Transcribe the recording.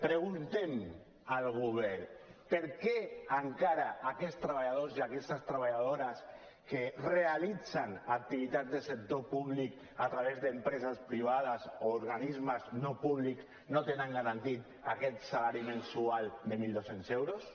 preguntem al govern per què encara aquests treballadors i aquestes treballadores que realitzen activitats del sector públic a través d’empreses privades o organismes no públics no tenen garantit aquest salari mensual de mil dos cents euros